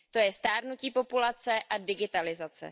To je stárnutí populace a digitalizace.